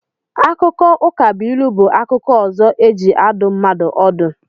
Akụkọ Ụkabụilu bụ akụkọ ọzọ e ji adụ mmadụ ọdụ